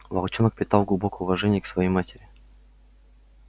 волчонок питал глубокое уважение к своей матери